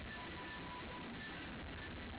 ቀን ተነጋግረውበታል